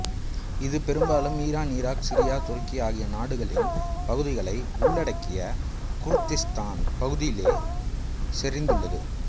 இது பெரும்பாலும் Iran Iraq Syria துருக்கி ஆகிய நாடுகளின் பகுதிகளை உள்ளடக்கிய குர்திஸ்தான் பகுதியிலேயே செறிந்துள்ளது